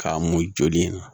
K'a mun joli in na